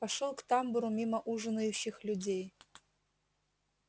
пошёл к тамбуру мимо ужинающих людей